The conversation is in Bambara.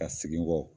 Ka segin n kɔ